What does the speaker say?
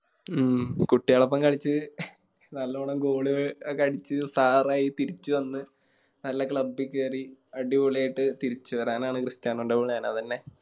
ഉം കുട്ടിയളൊപ്പം കളിച്ച് നല്ലോണം Goal ഒക്കെ അടിച്ച് Star ആയി തിരിച്ച് വന്ന് നല്ല Club കേറി അടിപൊളിയായിട്ട് തിരിച്ച് വരാനാണ് ക്രിസ്‌ത്യാനോൻറെ Plan അതെന്നെ